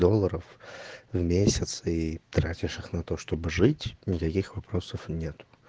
доллоров в месяц и тратишь на то чтобы жить на таких вопросов нет